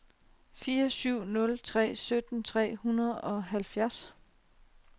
fire syv nul tre sytten tre hundrede og halvfjerds